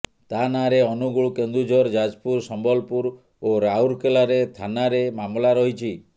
ତା ନାଁରେ ଅନୁଗୁଳ କେନ୍ଦୁଝର ଯାଜପୁର ସମ୍ବଲପୁର ଓ ରାଉରକେଲାରେ ଥାନାରେ ମାମଲା ରହିଛି